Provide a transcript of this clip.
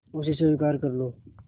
उसे स्वीकार कर लो